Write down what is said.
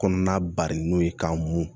Kɔnɔna bari n'o ye k'an mun